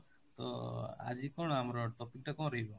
ତ ଆଜି କ'ଣ ଆମର topic ଟା କ'ଣ ରହିବ ?